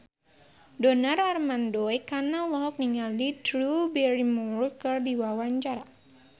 Donar Armando Ekana olohok ningali Drew Barrymore keur diwawancara